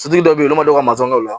Fitiri dɔ be ye olu mago ka mafɛn dɔw la